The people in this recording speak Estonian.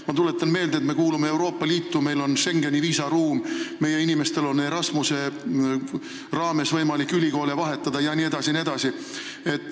Ma tuletan meelde, et me kuulume Euroopa Liitu, meil on Schengeni viisaruum, meie inimestel on Erasmuse raames võimalik ülikoole vahetada jne, jne.